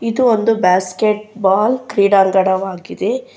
ಮತ್ತು ಒಂದು basketball ಕ್ರೀಡಾಂಗಣವಾಗಿದೆ.